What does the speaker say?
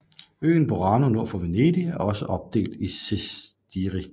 Øen Burano nord for Venedig er også opdelt i sestieri